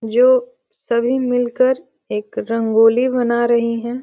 जो सभी मिलकर एक रंगोली बना रही हैं।